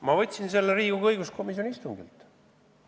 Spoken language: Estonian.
Ma võtsin selle Riigikogu õiguskomisjoni istungilt.